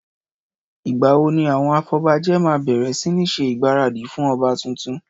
Ìgbà wo ni àwọn afọbajẹ́ máa bẹ̀rẹ̀ sí ní ṣe ìgbáradì fún ọba tuntun?